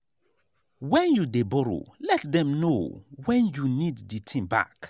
when you dey borrow let dem know when you need the thing back